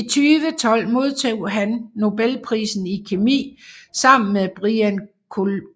I 2012 modtog han nobelprisen i kemi sammen med Brian